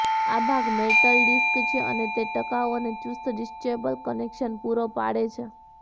આ ભાગ metal disc છે અને તે ટકાઉ અને ચુસ્ત ડિટેચેબલ કનેક્શન પૂરો પાડે છે